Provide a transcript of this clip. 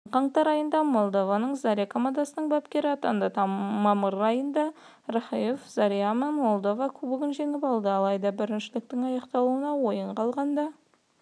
жылдың қаңтар айында молдованың заря командасының бапкері атанды мамыр айында рахаев зарямен молдова кубогын жеңіп алды алайда біріншіліктің аяқталуына ойын қалғанда